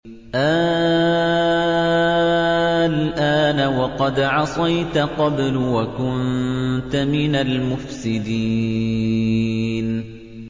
آلْآنَ وَقَدْ عَصَيْتَ قَبْلُ وَكُنتَ مِنَ الْمُفْسِدِينَ